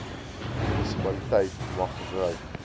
munisipaliteit mag gebruik